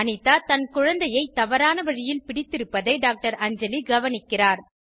அனிதா தன் குழந்தையை தவறான வழியில் பிடித்திருப்பதை டாக்டர் அஞ்சலி கவனிக்கிறார்